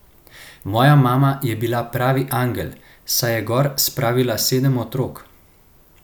Moja mama pa je bila pravi angel, saj je gor spravila sedem otrok.